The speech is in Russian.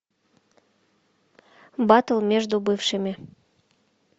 батл между бывшими